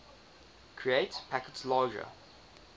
create packets larger